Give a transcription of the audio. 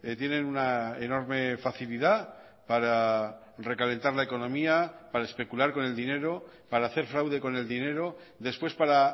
tienen una enorme facilidad para recalentar la economía para especular con el dinero para hacer fraude con el dinero después para